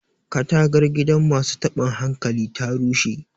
katagar gidan masu tabin hankali ta rushe